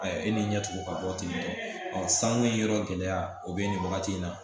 A ye e ni ɲɛtig'o ka bɔ tentɔ sanko yɔrɔ gɛlɛya o bɛ nin wagati in na